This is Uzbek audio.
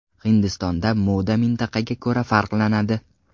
Hindistonda moda mintaqaga ko‘ra farqlanadi.